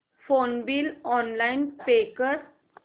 phone bill online pay कर